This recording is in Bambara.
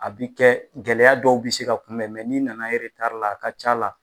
A bi kɛ gɛlɛya dɔw bi se ka kunbɛn n'i nana la a ka c'a la.